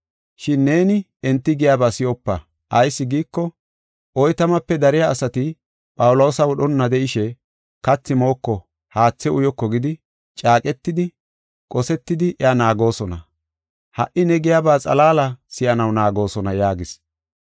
Shin neeni enti giyaba si7opa. Ayis giiko, oytamape dariya asati Phawuloosa wodhonna de7ishe ‘Kathi mooko, haathe uyoko’ gidi caaqetidi, qosetidi iya naagoosona. Ha77i ne giyaba xalaala si7anaw naagoosona” yaagis.